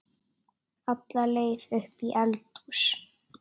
alla leið upp í eldhús.